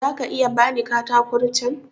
Za ka iya ba ni katakon can?